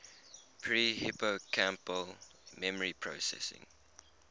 pre hippocampal memory processing